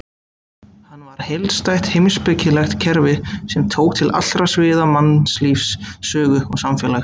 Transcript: Hann var heildstætt heimspekilegt kerfi sem tók til allra sviða mannlífs, sögu og samfélags.